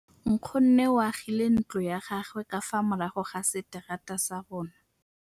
Nkgonne o agile ntlo ya gagwe ka fa morago ga seterata sa rona.